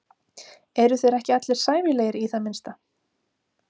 Eru þeir ekki allir sæmilegir í það minnsta.